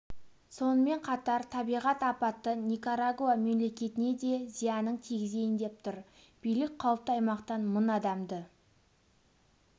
сонымен қатар табиғат апаты никарагуа мемлекетіне де зиянын тигізейін деп тұр билік қауіпті аймақтан мың адамды